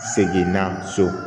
Segin na so